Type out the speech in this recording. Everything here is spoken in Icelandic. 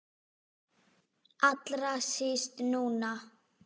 Allra síst núna.